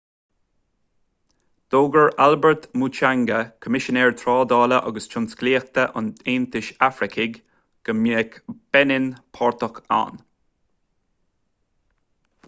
d'fhógair albert muchanga coimisinéir trádála agus tionsclaíochta an aontais afracaigh go mbeidh beinin páirteach ann